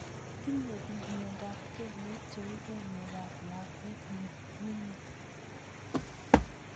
Tinye piik miondop kelek cheu kelek ab lakwet ne mining'